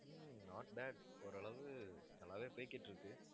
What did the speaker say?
hmm not bad ஓரளவு நல்லாவே போய்க்கிட்டுருக்கு